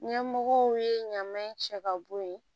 Ɲɛmɔgɔw ye ɲaman in cɛ ka bɔ ye